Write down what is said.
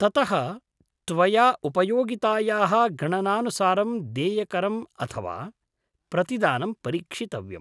ततः त्वया उपयोगितायाः गणनानुसारं देयकरम् अथवा प्रतिदानं परीक्षितव्यम्।